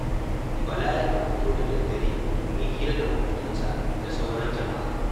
Bala yakan fito da daddare domin hira da maƙotansa da sauaran jama'a